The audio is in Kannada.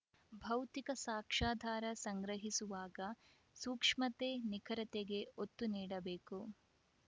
ಭೌತಿಕ ಸಾಕ್ಷ್ಯಾಧಾರ ಸಂಗ್ರಹಿಸುವಾಗ ಸೂಕ್ಷ್ಮತೆ ನಿಖರತೆಗೆ ಒತ್ತು ನೀಡಬೇಕು